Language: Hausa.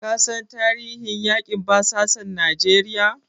Ka san tarihin yaƙin basasan Najeriya?